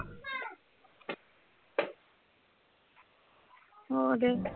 ਉਹ ਦੇ